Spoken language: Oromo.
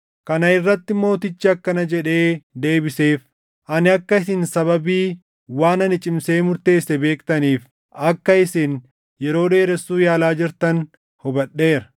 Kana irratti mootichi akkana jedhee deebiseef; “Ani akka isin sababii waan ani cimsee murteesse beektaniif, akka isin yeroo dheeressuu yaalaa jirtan hubadheera: